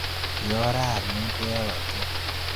Yooy raani ngwek ak kooyto